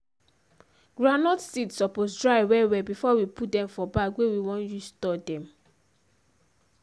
groundnut seed supose dry well well before we put dem for bag wey we want use store dem.